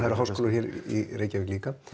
eru háskólar hér í Reykjavík líka